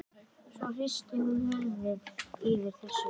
Svo hristir hún höfuðið yfir þessu.